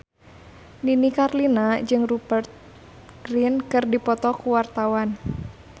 Nini Carlina jeung Rupert Grin keur dipoto ku wartawan